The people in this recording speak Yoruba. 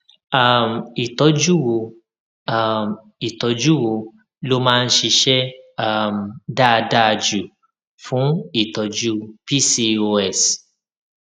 um ìtójú wo um ìtójú wo ló máa ń ṣiṣé um dáadáa jù fún ìtọjú pcos